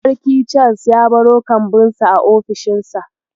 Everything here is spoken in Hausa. Sarki Charles ya baro kambunsa a ofishinsa.